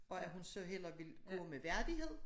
Og at hun så hellere ville gå med værdighed